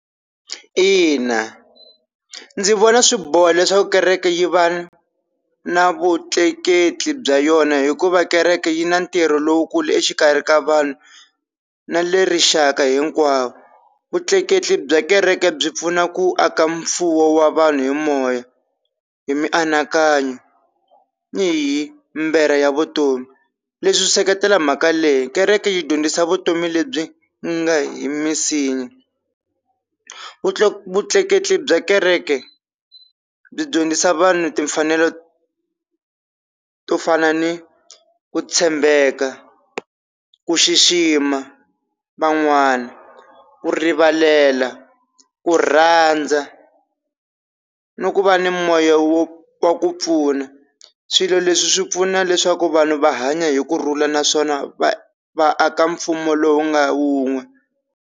Ina ndzi vona swiboha leswaku kereke yi va na vutleketli bya yona hikuva kereke yi na ntirho lowukulu exikarhi ka vanhu na le rixaka hinkwawo, vutleketli bya kereke byi pfuna ku aka mfuwo wa vanhu hi moya, hi mianakanyo, ni hi mbera ya vutomi leswi seketela mhaka leyi kereke yi dyondzisa vutomi lebyi nga hi vutleketli bya kereke byi dyondzisa vanhu timfanelo to fana ni ku tshembeka, ku xixima, van'wana ku rivalela, ku rhandza ni ku va ni moya wo wa ku pfuna swilo leswi swi pfuna leswaku vanhu va hanya hi kurhula naswona va va aka mfumo lowu nga wun'we.